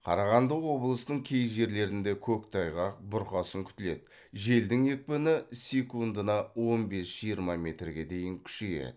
қарағанды облысының кей жерлерінде көктайғақ бұрқасын күтіледі желдің екпіні секундына он бес жиырма метрге дейін күшейеді